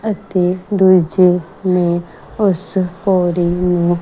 ਅਤੇ ਦੁੱਜੇ ਨੇਂ ਉੱਸ ਪੌੜੀ ਨੂੰ--